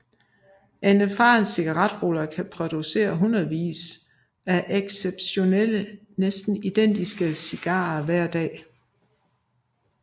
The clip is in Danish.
En erfaren cigarruller kan producere hundredvis af exceptionelle næsten identiske cigarer hver dag